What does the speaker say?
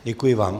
Děkuji vám.